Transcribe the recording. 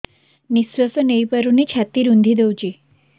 ନିଶ୍ୱାସ ନେଇପାରୁନି ଛାତି ରୁନ୍ଧି ଦଉଛି